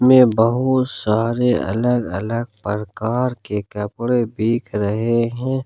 मे बहुत सारे अलग अलग परकार के कपड़े दिख रहे हैं।